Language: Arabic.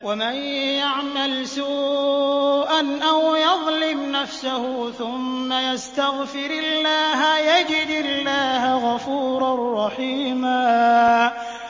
وَمَن يَعْمَلْ سُوءًا أَوْ يَظْلِمْ نَفْسَهُ ثُمَّ يَسْتَغْفِرِ اللَّهَ يَجِدِ اللَّهَ غَفُورًا رَّحِيمًا